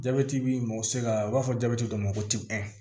Jabɛti bi mɔgɔ u b'a fɔ jabeti dɔw ma ko